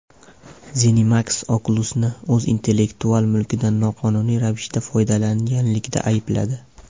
ZeniMax Oculus’ni o‘z intellektual mulkidan noqonuniy ravishda foydalanganlikda aybladi.